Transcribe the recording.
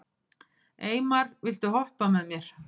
Eymar, viltu hoppa með mér?